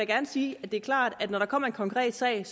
gerne sige at det er klart at når der kommer en konkret sag